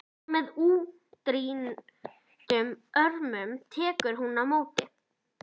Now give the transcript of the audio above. Og með útréttum örmum tekur hún á móti.